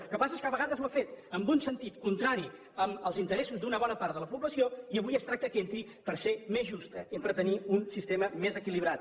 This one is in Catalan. el que passa és que a vegades ho ha fet en un sentit contrari als interessos d’una bona part de la població i avui es tracta que hi entri per ser més justa i per tenir un sistema més equilibrat